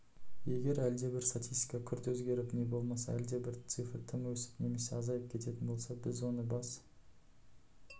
егер әлдебір статистика күрт өзгеріп не болмаса әлдебір цифр тым өсіп немесе азайып кететін болса біз оны бас